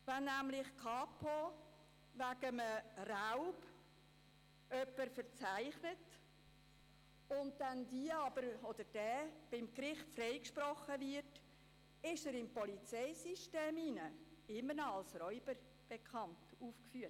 Wenn die Kantonspolizei Bern (Kapo Bern) eine Person wegen Raubs anzeigt und das Gericht diese freispricht, bleibt die Person im Polizeisystem als Räuber aufgeführt.